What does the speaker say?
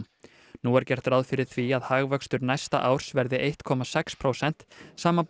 nú er gert ráð fyrir því að hagvöxtur næsta árs verði eitt komma sex prósent samanborið